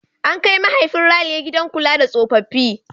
An kai mahaifin Ralia gidan kula da tsofaffi.